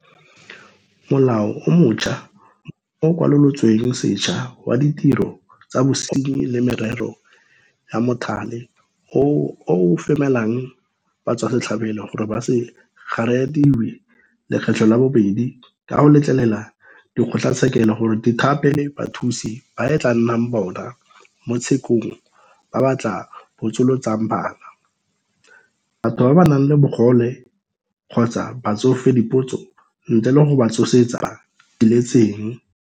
Molao o montšhwa o o Kwalolotsweng Sešwa wa Ditiro tsa Bosenyi le Merero ya Mothale oo o femela batswasetlhabelo gore ba se kgariediwe lekgetlo la bobedi ka go letlelela dikgotlatshekelo gore di thape bathusi ba e tla nnang bona mo tshekong ba ba tla botsolotsang bana, batho ba ba nang le bogole kgotsa batsofe dipotso ntle le go ba tsosetsa diletseng.